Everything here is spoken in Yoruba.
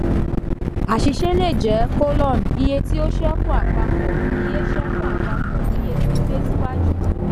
àṣìṣe le jẹ: iye tí ó ṣekú àpapọ̀ iye ṣekú àpapọ̀ iye gbígbé síwájú.